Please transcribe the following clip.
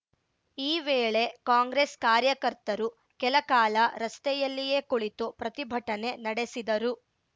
ಈ ವೇಳೆ ಕಾಂಗ್ರೆಸ್‌ ಕಾರ್ಯಕರ್ತರು ಕೆಲ ಕಾಲ ರಸ್ತೆಯಲ್ಲಿಯೇ ಕುಳಿತು ಪ್ರತಿಭಟನೆ ನಡೆಸಿದರು